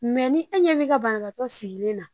Mɛ ni e ɲɛ b'i ka banabagatɔ sigilen na